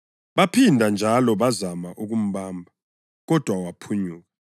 Baphinda njalo bazama ukumbamba kodwa waphunyuka.